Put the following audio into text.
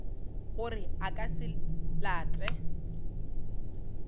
gore a ka se late